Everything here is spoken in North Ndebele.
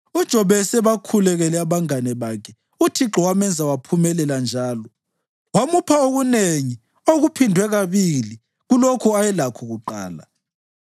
UJobe esebakhulekele abangane bakhe, uThixo wamenza waphumelela njalo wamupha okunengi okuphindwe kabili kulokho ayelakho kuqala.